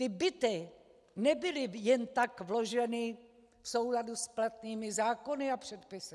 Ty byty nebyly jen tak vloženy v souladu s platnými zákony a předpisy.